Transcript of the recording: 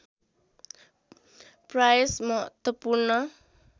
प्रयास महत्त्वपूर्ण